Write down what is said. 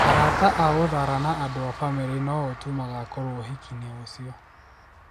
Arata a Uthara na andũ a bamĩrĩ nĩ o tu magakorwo ũhiki-inĩ ucio.